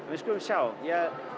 við skulum sjá ég